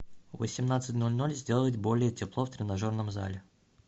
в восемнадцать ноль ноль сделать более тепло в тренажерном зале